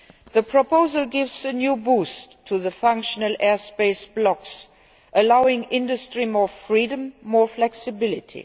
The proposal gives a new boost to the functional airspace blocks, allowing industry more freedom and more flexibility.